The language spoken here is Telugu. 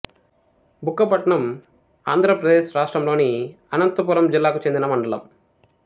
బుక్కపట్నం ఆంధ్ర ప్రదేశ్ రాష్ట్రములోని అనంతపురం జిల్లాకు చెందిన మండలం